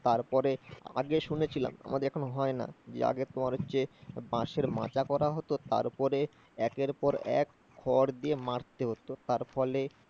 তারপরে আগে শুনেছিলাম, আমাদের এখন হয় না, যে আগে তোমার হচ্ছে বাঁশের মাচা করা হত, তারপরে একের পর এক খড় দিয়ে মারতে হতো। তার ফলে